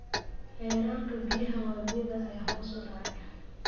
Heerarka biyaha wabiyada ayaa hoos u dhacay.